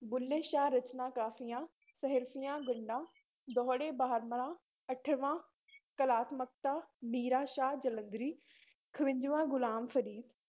ਬੁਲ੍ਹੇ ਸ਼ਾਹ ਰਚਨਾ ਕਾਫ਼ੀਆ, ਸੀਹਰਫ਼ੀਆਂ ਗੰਢਾਂ, ਦੋਹੜੇ ਬਾਰਾਮਾਹ, ਅਠਵਾਂ ਕਲਾਤਮਕਤਾ, ਮੀਰਾ ਸ਼ਾਹ ਜਲੰਧਰੀ ਖਵੰਜਵਾਂ ਗ਼ੁਲਾਮ ਫ਼ਰੀਦ